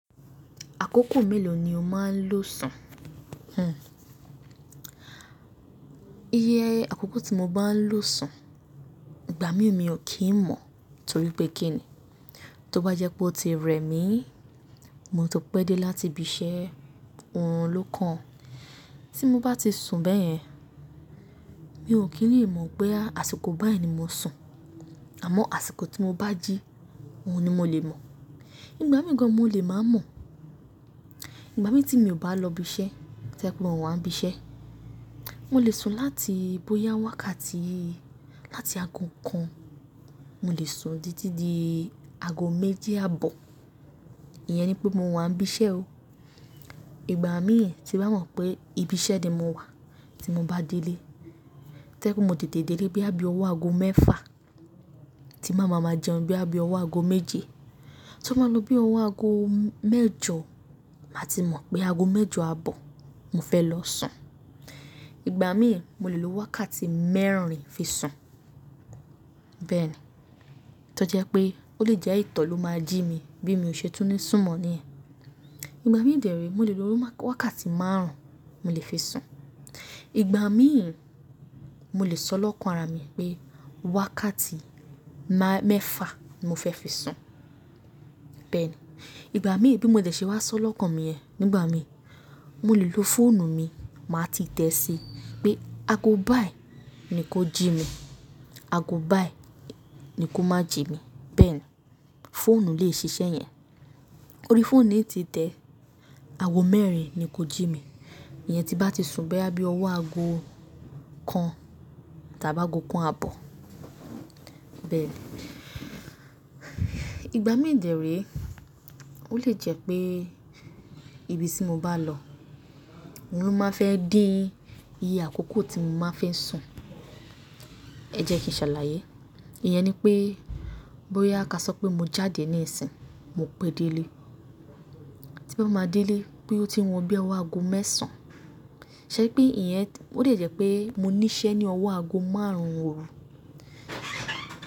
Àkókò mélòó ni o máa ń lò sun? Uhn Iye àkókò tí mo bá ń lò sun, ìgbà mí ò kí ń mọ̀ torí pé kí ni? Tó bá jẹ́ pé ó ti rẹ mí, mo tu n pẹ́ dé láti ibi iṣẹ́ orun ló kan. Tí mo bá ti sùn bẹ́ẹ̀ yẹn, mi ò kí le mọ̀ pé àsìkò báyìí ni mo sùn. Àmọ́ àsìkọ tí mo bá jí, òun ni mo lè mọ̀. Nígbà mìí gan mo lè máa mọ̀. Ìgbà mí tí mi ò bá lọ ibi iṣẹ́, to je pe mo wá ń bí iṣẹ́, mo lè sùn láti bóyá wákàtí láti ago kan, mo lè sùn títí di ago méjì àbọ̀. Iyẹn ni pé mo wà ń bí iṣẹ́ o. Ìgbà mí tí n ba mọ̀ pé ibi iṣẹ́ ni mo wà tí mo bá délé, to je pe mo tètè délé boya bí ọwọ́ ago mẹ́fa, tí n ba má ma jẹun boya bí ọwọ́ ago méje. Tó bá lọ bí ọwọ́ ago mẹ́jọ, màá ti mọ̀ pé ago mẹ́jọ àbọ̀ mo fẹ́ lọ sùn. Ìgbà mí, mo lè lo wákàtí mẹ́rin fi sùn. Bẹ́ẹ̀ ni. Tọ́ jẹ́ pé ó lè jẹ́ ìtọ̀ ló máa jí mi bí mi ò ṣe tún ní sùn mọ́ ní yẹn. Ìgbà mí dí re mo lè lo wákàtí márùn-ún mo lè fi sùn. Ìgbà mí mo lè sọ lọ́kàn ara mi pé wákàtí mẹ́fa n mo fẹ́ fi sùn. Bẹ́ẹ̀ ni. Ìgbà mí bí mo dẹ̀ ṣe wá sọ lọ́kàn mi yẹ nígbà mí, mo lè lo fóònù mi, màá ti tẹ síi pé ago báyìí ni kó jí mi, ago báyìí ni kó má jí mi. Bẹ́ẹ̀ ni. Fóònù lè ṣiṣẹ́ yẹn. Ó rí fóònù ni ti tẹ, ago mẹ́rin ni kó jí mi. Iyẹn tí bá ti sùn boya bí ọwọ́ ago kan tàbí ago kan àbọ̀. Bẹ́ẹ̀ ni. Ìgbà mí dẹ̀ re, ó lè jẹ́ pé ibi tí mo bá lọ, oun lo máa n fẹ́ dín iye àkókò tí mo máa fi sùn. Ẹ jẹ́ kí n ṣàlàyé. Iyẹn ni pé bóyá ka sọ pé mo jáde níìsín, mo pé délé. Tí n ba máa délé boya ó ti wọ bí i ọwọ́ ago mẹ́sàn. Sẹ́ri pé ìyẹn ó de jẹ́ pé mo ní iṣẹ́ ní ọwọ́ ago márùn-ún òru.